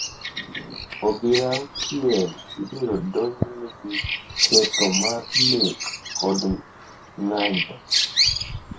obila auchiel ibiro odonjne gi ketho mar nek kod ng’anjo,